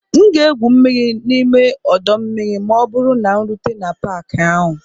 M ga-egwu mmiri n'ime ọdọ mmiri ma ọ bụrụ na m rute n'Paakị ahụ